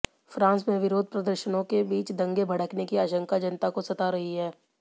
France में विरोध प्रदर्शनों के बीच दंगे भड़कने की आशंका जनता को सता रही है